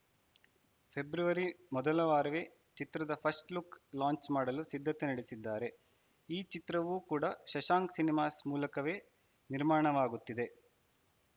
February ಮೊದಲ ವಾರವೇ ಚಿತ್ರದ ಫಸ್ಟ್‌ ಲುಕ್‌ ಲಾಂಚ್‌ ಮಾಡಲು ಸಿದ್ಧತೆ ನಡೆಸಿದ್ದಾರೆ ಈ ಚಿತ್ರವೂ ಕೂಡ ಶಶಾಂಕ್‌ ಸಿನಿಮಾಸ್‌ ಮೂಲಕವೇ ನಿರ್ಮಾಣವಾಗುತ್ತಿದೆ